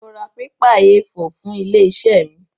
Mo ra pépà Éé 4 fún ilé-iṣẹ́ mi.